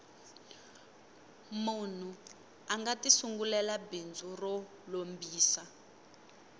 munhu anga ti sungulela bindzu ro lombisa